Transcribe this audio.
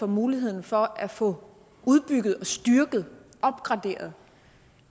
muligheden for at få udbygget styrket og opgraderet